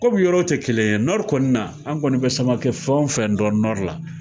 komi yɔrɔw te kelen ye nɔri kɔni na an kɔni be samake fɛn o fɛn dɔn nɔri la